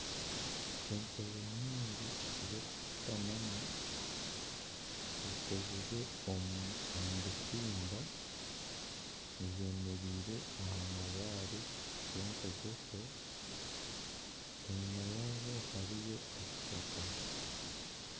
Entebe nyingi z'okushutamamu zikozirwe omu butimba zemereire aha mabaare genkogoso enyuma yaazo hariyo ekishaka